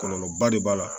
Kɔlɔlɔba de b'a la